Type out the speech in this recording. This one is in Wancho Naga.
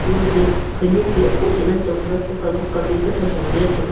amaje khawnek a mosa ngan chong tega kukam kukam me a kuthow sa low let chong tega.